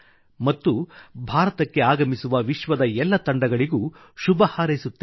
ಮತ್ತು ಭಾರತಕ್ಕೆ ಆಗಮಿಸುವ ವಿಶ್ವದ ಎಲ್ಲ ತಂಡಗಳಿಗೂ ಶುಭ ಹಾರೈಸುತ್ತೇನೆ